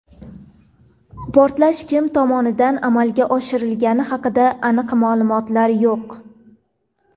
Portlash kim tomonidan amalga oshirilgani haqida aniq ma’lumotlar yo‘q.